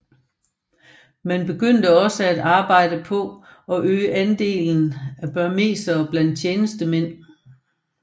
Man begyndte også på at arbejde for at øge andelen af burmesere blandt tjenestemænd